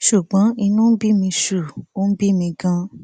ṣùgbọn inú ń bí mi ṣùù ó ń bí mi ganan